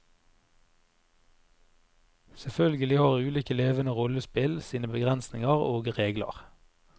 Selvfølgelig har ulike levende rollespill sine begrensninger og regler.